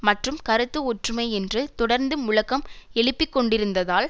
மற்றும் கருத்து ஒற்றுமை என்று தொடர்ந்து முழக்கம் எழுப்பிக்கொண்டிருந்ததால்